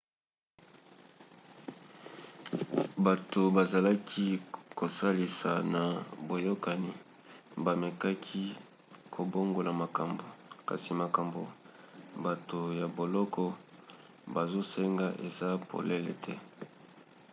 bato bazalaki kosalisa na boyokani bamekaki kobongola makambo kasi makambo bato ya boloko bazosenga eza polele te